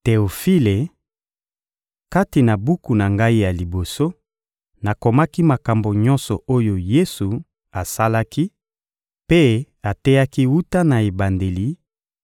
Teofile: Kati na buku na ngai ya liboso, nakomaki makambo nyonso oyo Yesu asalaki mpe ateyaki wuta na ebandeli